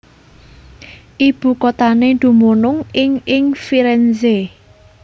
Ibukuthané dumunung ing ing Firenze